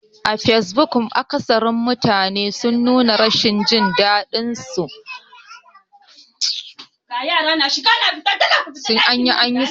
A fesbuk, mafi akatharin mutane sun nuna rashin jin daɗin hukuncin kotun ɗaukaka ƙara a kan zaɓen Kano.